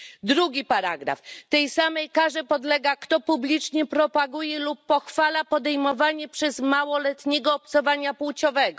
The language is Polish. Drugi paragraf Tej samej karze podlega, kto publicznie propaguje lub pochwala podejmowanie przez małoletniego obcowania płciowego.